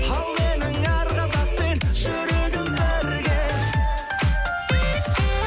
ал менің әр қазақпен жүрегім бірге